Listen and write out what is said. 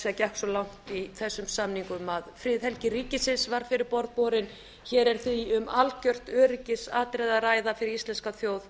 segja gekk svo langt í þessum samningum að friðhelgi ríkisins var fyrir borð borin hér er því um algert öryggisatriði að ræða fyrir íslenska þjóð